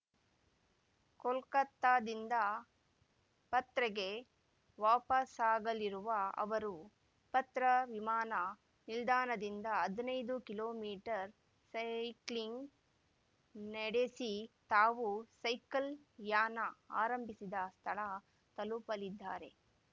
ಕೋಲ್ಕತಾದಿಂದ ಪತ್ರೆಗೆ ವಾಪಸಾಗಲಿರುವ ಅವರುಪತ್ರ ವಿಮಾನ ನಿಲ್ದಾಣದಿಂದ ಹದನೈದು ಕಿಲೋ ಮೀಟರ್ ಸೈಕ್ಲಿಂಗ್‌ ನಡೆಸಿ ತಾವು ಸೈಕಲ್‌ ಯಾನ ಆರಂಭಿಸದ ಸ್ಥಳ ತಲುಪಲಿದ್ದಾರೆ